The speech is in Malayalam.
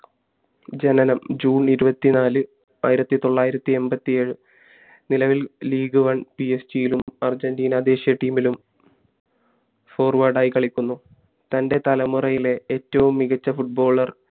ജനനം june ഇരുവത്തി നാല് ആയിരത്തി തൊള്ളായിരത്തി എൺപത്തി ഏഴ് നിലവിൽ league oneP. S. G യിലും അര്ജൻറ്റീന ദേശിയ team ലും forward ആയി കളിക്കുന്നു തൻ്റെ തലമുറയിലെ ഏറ്റവും മികച്ച footballer